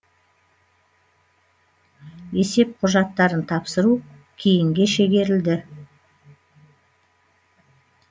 есеп құжаттарын тапсыру кейінге шегерілді